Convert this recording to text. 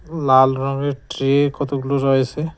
এবং লাল রঙের ট্রে কতগুলো রয়েছে।